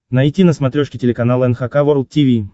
найти на смотрешке телеканал эн эйч кей волд ти ви